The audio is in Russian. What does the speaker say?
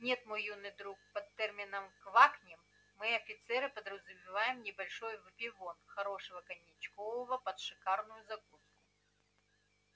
нет мой юный друг под термином квакнем мы офицеры подразумеваем небольшой выпивон хорошего коньякчкового под шикарную закуску